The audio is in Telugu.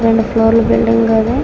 రెండు ఫ్లోర్ల బిల్డింగ్ ఇది.